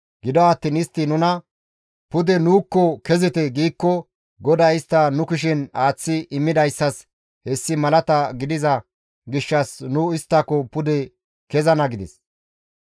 Gido attiin istti nuna, ‹Pude nuukko kezite› giikko GODAY istta nu kushen aaththi immidayssas hessi malata gidiza gishshas nu isttako pude kezana» gides.